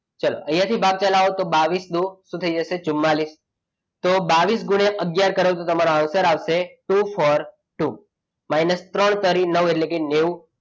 ચાલો અહીંયા થી ભાગ ચલાવો તો બાવીસ દૂ થઈ જશે ચુમ્માળીસ તો બાવીસ ગુણ્યા અગિયાર કરો તો તમારો answer આવશે, two for twominus ત્રણ તારી નવ એટલે કે નેવું.